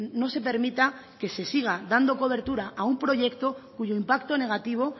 no se permita que se siga dando cobertura a un proyecto cuyo impacto negativo